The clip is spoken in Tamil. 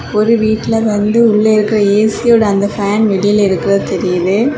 ஒரு வீட்ல வந்து உள்ள இருக்கற ஏ_சியோட அந்த ஃபேன் வெளில இருக்கறது தெரியுது.